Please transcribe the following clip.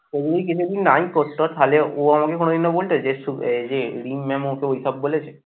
ওই যদি নাই করত তাহলে ও আমাকে কোনদিনও বলতো যে এই যে রিম mam ওকে ওইসব বলেছে।